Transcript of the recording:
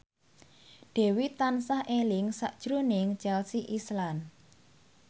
Dewi tansah eling sakjroning Chelsea Islan